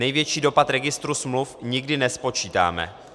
Největší dopad registru smluv nikdy nespočítáme.